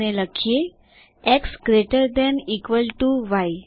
અને લખીએ x greater than equal to y